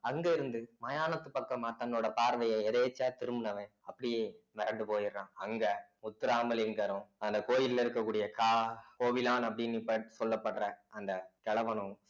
அங்கே இருந்து மயானத்து பக்கம தன்னோட பார்வையை எதேச்சையா திரும்புனவன் அப்படியே மிரண்டுபோயிறான் அங்க முத்துராமலிங்கரும் அந்த கோயில்ல இருக்கக்கூடிய கா~ கோவிலான் அப்படின்னு சொல்லப்படுற அந்த கிழவனும்